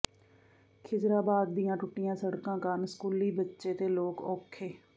ਖਿਜ਼ਰਾਬਾਦ ਦੀਆਂ ਟੁੱਟੀਆਂ ਸੜਕਾਂ ਕਾਰਨ ਸਕੂਲੀ ਬੱਚੇ ਤੇ ਲੋਕ ਔਖੇ